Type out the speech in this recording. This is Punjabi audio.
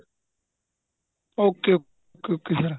okay okay sir